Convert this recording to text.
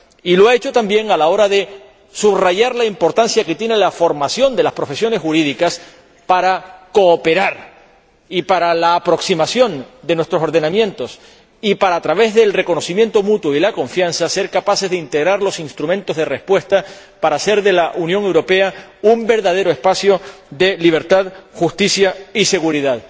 Y lo ha hecho también a la hora de subrayar la importancia que tiene la formación de las profesiones jurídicas para cooperar y para aproximar nuestros ordenamientos y, a través del reconocimiento mutuo y la confianza, para ser capaces de integrar los instrumentos de respuesta a fin de hacer de la Unión Europea un verdadero espacio de libertad, justicia y seguridad.